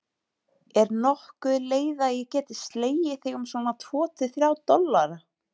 Er nokkur leið að ég geti slegið þig um svona tvo til þrjá dollara?